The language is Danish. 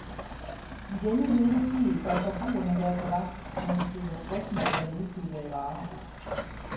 I denne hede tid bør forbrugerne være på vagt, når de køber frosne eller nedkølede varer.